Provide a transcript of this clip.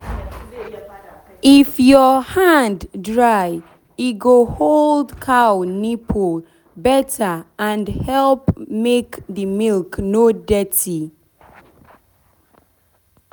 if your hand dry e go hold cow nipple better and help make the milk no dirty.